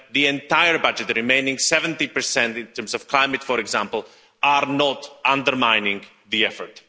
When the entire budget, the remaining 70, in terms of climate for example, are not undermining the effort.